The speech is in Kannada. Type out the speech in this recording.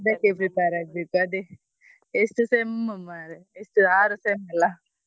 ಅದಕ್ಕೆ prepare ಆಗ್ಬೇಕು ಅದೇ ಎಷ್ಟು SEM ಮಾರ್ರೆ ಎಷ್ಟು ಆರು SEM ಅಲ್ಲ?